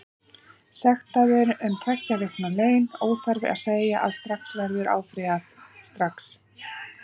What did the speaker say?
Sektaður um tveggja vikna laun, óþarfi að segja að þessu verður áfrýjað strax.